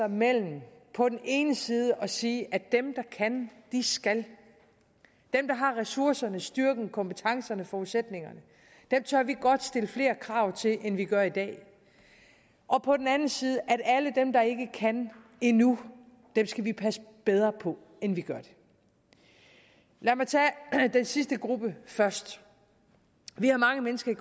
mellem på den ene side at sige at dem der kan skal dem der har ressourcerne styrken kompetencerne og forudsætningerne tør vi godt stille flere krav til end vi gør i dag og på den anden side sige at alle dem der ikke kan endnu skal vi passe bedre på end vi gør lad mig tage den sidste gruppe først vi har mange mennesker